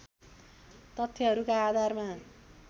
तथ्यहरूका आधारमा